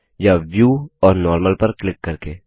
या व्यू और नॉर्मल पर क्लिक करके